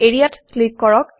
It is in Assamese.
এৰিয়া ক্লিক কৰক